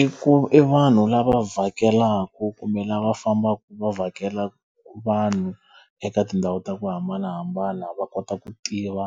I ku i vanhu lava vhakelaku kumbe lava fambaka va vhakela vanhu eka tindhawu ta ku hambanahambana va kota ku tiva